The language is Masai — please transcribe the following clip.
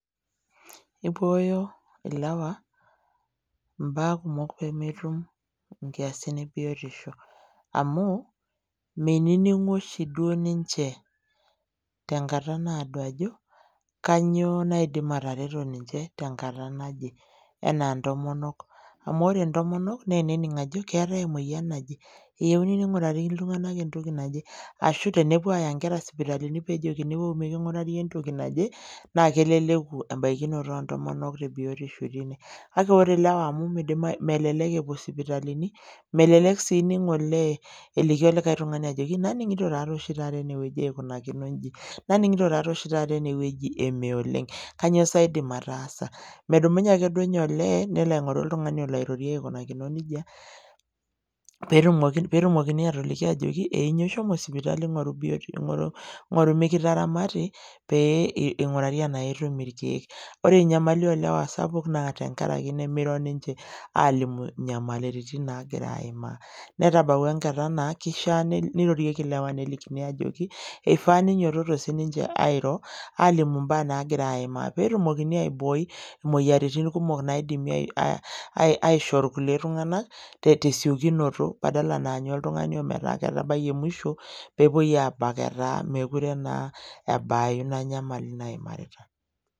Eibooyo ill'ewa imbaa kumok pemetum nkiasin ebiotisho amuu meinining'u oshii duo ninche tenkata naodo ajo kanyioo naidim atareto ninche tenkata naje enaa intomonok amu ore intomonok naa enening' ajo keatae emoyian naje, eyeuni neing'urakini ltung'anak entoki naje ashu tenepo aaya inkerra sipitalini nejokini wou miking'urari entoki naje naa keleleku embakinoto oo ntomonok te biotisho teine ,kake ore lewa amu melelek epuo sipitalini, melelek sii olee eliki likae tungani ajoki naning'itpo taa dei oshi taata ineweji eikunakino ,naning'ito taa dei oshi taata eneweji emee oleng' kanyioo siye aidim ataaasa, medumunye ake duo ninye olee nelo aing'oru oltungani olo airorie aikoneja peetumokini aatoliki aajoki enyuo shomo sipitali ing'oru mikitaramati pee eing'urari enaa itum irkiekore inyamali oolewa sapuk naa teng'araki nemeiro ninche aalimu inyamalirritn naagira aimaa, netabauwa enkata naa keishaa neirorieki lewa nelikini aajoki eifaa neinyototo sii ninche airo aalimu imbaa naagira aimaa peetumokini aiboooi inyamalirritin naidim aishoo lkule tung'anak te siokunoto badala naanyu oltung'ani metaa ketabaiye emusho peepoi aabak etaa mekure naa ebaayu naa inyamali naimarita.